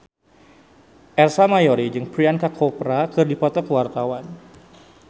Ersa Mayori jeung Priyanka Chopra keur dipoto ku wartawan